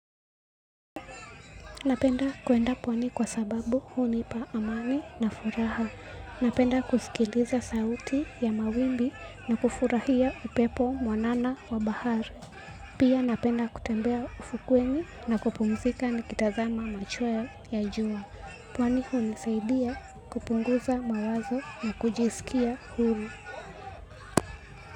Napenda kwenda pwani kwa sababu hunipa amani na furaha. Napenda kusikiliza sauti ya mawimbi na kufurahia upepo mwanana wa bahari. Pia napenda kutembea ufukweni na kupumzika nikitazama machweo ya jua. Pwani hunisaidia kupunguza mawazo na kujisikia huru.